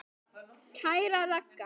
Kæra Ragga.